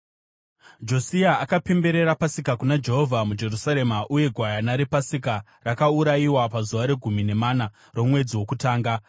Josia akapemberera Pasika kuna Jehovha muJerusarema, uye gwayana rePasika rakaurayiwa pazuva regumi nemana romwedzi wokutanga.